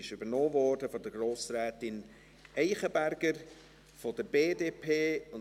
Sie wurde von Grossrätin Eichenberger von der BDP übernommen.